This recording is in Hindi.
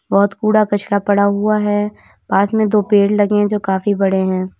बहुत कूड़ा कचरा पड़ा हुआ है पास में दो पेड़ लगे है जो काफी बड़े है।